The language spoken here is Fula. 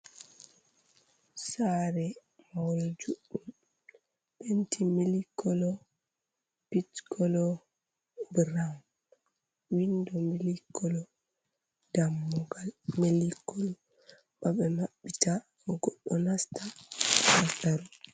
Saare mahol juɗɗum penti mili kolo, pish colo, broun windo mili kolo, dammugal mili kolo ba be maɓɓitai goɗɗo nasta ha ton.